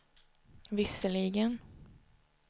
visserligen